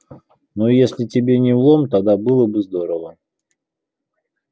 ну если тебе не в лом тогда было бы здорово